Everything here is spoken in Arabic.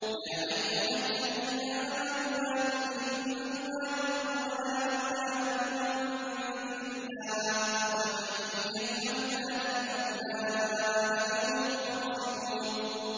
يَا أَيُّهَا الَّذِينَ آمَنُوا لَا تُلْهِكُمْ أَمْوَالُكُمْ وَلَا أَوْلَادُكُمْ عَن ذِكْرِ اللَّهِ ۚ وَمَن يَفْعَلْ ذَٰلِكَ فَأُولَٰئِكَ هُمُ الْخَاسِرُونَ